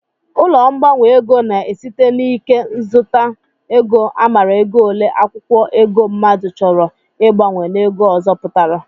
Ụlọ mgbanwe ego na-esite n'ike nzụta ego amara ego ole akwụkwọ ego mmadụ chọrọ ịgbanwe n'ego ọzọ pụtara